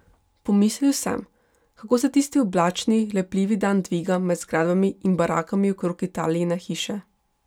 Pomislil sem, kako se tisti oblačni, lepljivi dan dviga med zgradbami in barakami okrog Italijine hiše.